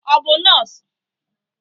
Ọ bụ nọọsụ?